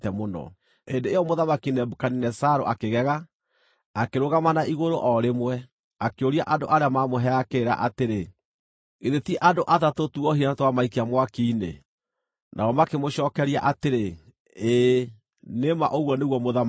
Hĩndĩ ĩyo Mũthamaki Nebukadinezaru akĩgega, akĩrũgama na igũrũ o rĩmwe, akĩũria andũ arĩa maamũheaga kĩrĩra atĩrĩ, “Githĩ ti andũ atatũ tuohire na twamaikia mwaki-inĩ?” Nao makĩmũcookeria atĩrĩ, “Ĩĩ, nĩ ma ũguo nĩguo, mũthamaki.”